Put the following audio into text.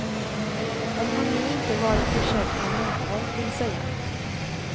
Om han nu inte varit försedd med munkorg vill säga.